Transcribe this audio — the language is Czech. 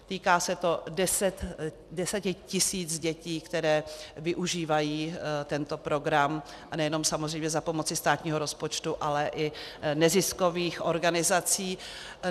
Týká se to deseti tisíc dětí, které využívají tento program, a nejenom samozřejmě za pomoci státního rozpočtu, ale i neziskových organizací.